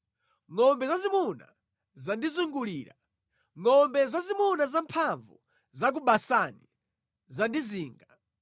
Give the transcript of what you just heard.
Ngʼombe zazimuna zandizungulira; ngʼombe zazimuna zamphamvu za ku Basani zandizinga.